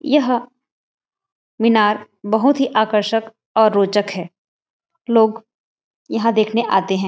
यह मीनार बहुत ही आकर्षक और रोचक है लोग यह देखने आते है।